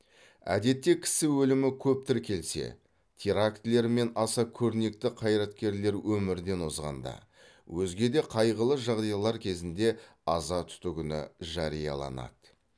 әдетте кісі өлімі көп тіркелсе терактілер мен аса көрнекті қайраткерлер өмірден озғанда өзге де қайғылы жағдайлар кезінде аза тұту күні жарияланады